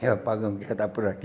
É apagão que já está por aqui.